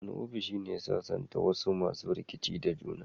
Wani ofishi ya sasanta wasu masu rikici da juna.